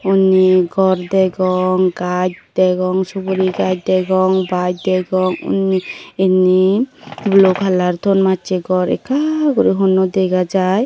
undi gor degong gaj degong suguri gaj degong baj degong undi indi blue color ton macche gor ekka guri hunno dega jai.